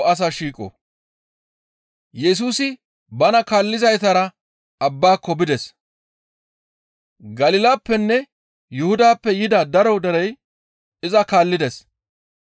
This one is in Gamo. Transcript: Yesusi bana kaallizaytara abbaako bides. Galilappenne Yuhudappe yida daro derey iza kaallides.